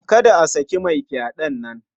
Kada a saki mai fyaɗen nan.